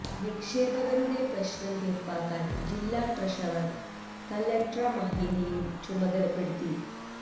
നിക്ഷേപകരുടെ പ്രശ്നം തീർപ്പാക്കാൻ ജില്ലാ ട്രഷറർ കല്ലട്ര മാഹീനെയും ചുമതലപ്പെടുത്തി